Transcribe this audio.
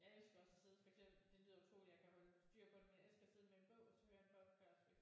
Jeg elsker også at sidde for eksempel det lyder utroligt jeg kan holde styr på det men jeg elsker at sidde med en bog og så hører jeg en podcast